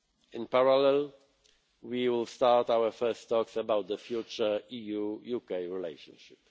in June. In parallel, we will start our first talks about the future EU UK relationship.